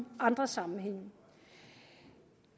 andre sammenhænge